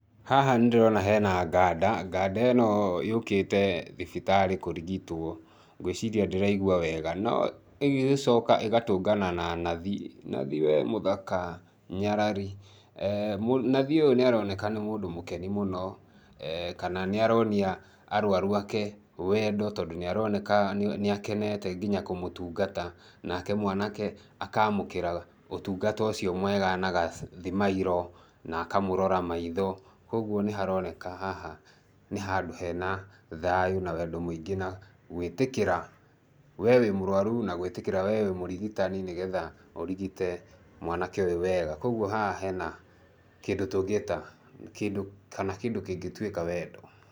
Haha nĩ ndĩrona he na nganda, nganda ĩno yũkĩte thibitarĩ kũrigitwo, ngwĩciria ndĩraigwa wega.No ĩgacoka ĩgatũngana na nathi, nathi we mũthaka, nyarari. Nathi ũyũ nĩ aroneka nĩ mũndũ mũkeni mũno, kana nĩ aronia arwaru ake wendo tondũ nĩ aroneka nĩ akenete nginya kũmũtungata, nake mwanake akaamũkĩra ũtungata ũcio mwega na gathimairũ, na akamũrora maitho. Kwoguo nĩ haroneka haha nĩ handũ hena thayũ na wendo mũingĩ na gwĩtĩkĩra we wĩ mũrwaru na gwĩtĩkĩra we wĩ mũrigitani nĩ getha ũrigite mwanake ũyũ wega. Kwoguo haha hena kĩndũ tũngĩta kana kĩndũ kĩngĩtuĩka wendo.